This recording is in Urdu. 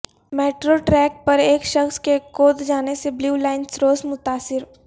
میٹرو ٹریک پر ایک شخص کے کود جانے سے بلیو لائن سروس متاثر